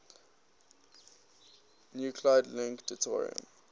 nuclide link deuterium